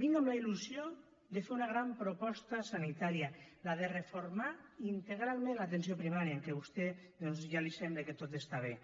vinc amb la il·lusió de fer una gran proposta sanitària la de reformar integralment l’atenció primària en què vostè doncs ja li sembla que tot està bé